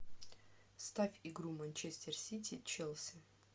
ставь игру манчестер сити челси